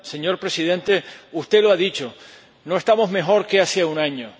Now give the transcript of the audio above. Señor Presidente, usted lo ha dicho no estamos mejor que hace un año.